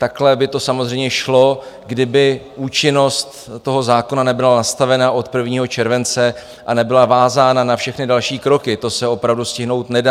Takhle by to samozřejmě šlo, kdyby účinnost toho zákona nebyla nastavena od 1. července a nebyla vázána na všechny další kroky, to se opravdu stihnout nedá.